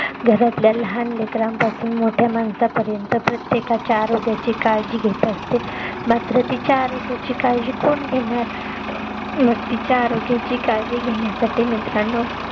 घरातल्या लहान लेकरांपासूण मोठया माणसांपर्यंत प्रत्येकाच्या आरोग्याची काळजी घेत असते मात्र तिच्या आरोग्याची काळजी कोण घेणार मग तिच्या आरोग्याची काळजी घेण्यासाठी मित्रांनो